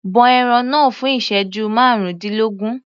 Bọ ẹran náà fún ìsẹ́jú márùndínlógún.